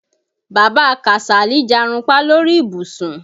Bàbá Kàsálí jarunpá lórí ìbùsùn.